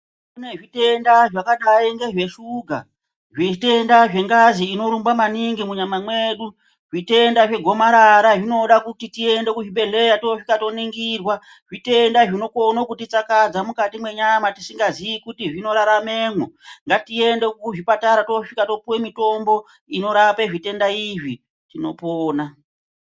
Kune zvitenda zvakadai ngezve shuga zvitenda zve ngazi ino rumba maningi mu nyama mwedu zvitenda zve gomarara zvinoda kuti tiende ku zvibhedhlera tosvika to ningirwa zvitenda zvino kone kuti tsakadza mukati mwe nyama tisinga zii kuti zvino raramemo ngatiende ku zvipatara tosvika topuwe mitombo inorape zvitenda izvi tinopona.